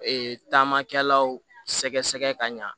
Ee taamakɛlaw sɛgɛsɛgɛ ka ɲa